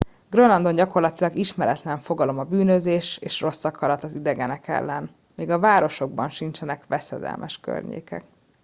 grönlandon gyakorlatilag ismeretlen fogalom a bűnözés és rosszakarat az idegenek ellen még a városokban sincsenek veszedelmes környékek